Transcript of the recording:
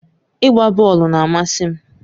Ịgba bọọlụ na-amasị m.